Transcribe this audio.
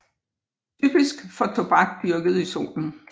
Typisk for tobak dyrket i solen